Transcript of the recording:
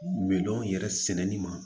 Milɔn yɛrɛ sɛnɛni ma